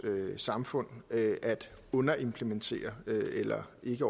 samfund at underimplementere eller ikke